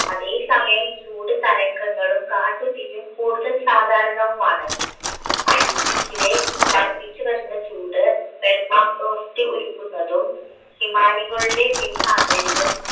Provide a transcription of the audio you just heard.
അതെ സമയം ചൂട് തരംഗങ്ങളും കാട്ടുതീയും കൂടുതൽ സാധാരണവുമാണ് arctic ലെ വർദ്ധിച്ചുവരുന്ന ചൂട് നിർമ്മാണ പ്രവർത്തി ഉരുകുന്നതും ഹിമാനികളുടെ പിൻവാങ്ങലിനും